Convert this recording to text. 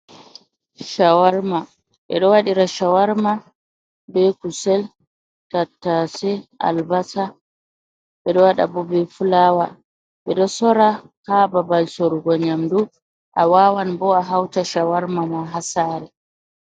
Shawarma, ɓeɗo waɗira ɓe kusel, tattase, albasa, ɓeɗo waɗa bo fulawa, bidosora hababal sorugo nyamdu, a wawan bo’a hauta shawarma ma hasare.